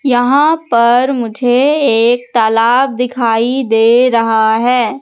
यहां पर मुझे एक तालाब दिखाई दे रहा है।